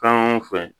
Fɛn o fɛn